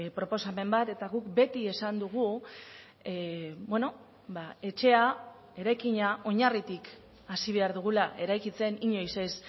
proposamen bat eta guk beti esan dugu etxea eraikina oinarritik hasi behar dugula eraikitzen inoiz ez